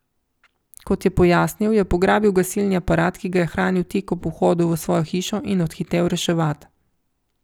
Kot je pojasnil, je pograbil gasilni aparat, ki ga hrani tik ob vhodu v svojo hišo, in odhitel reševat.